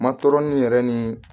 Ma tɔɔrɔnin yɛrɛ ni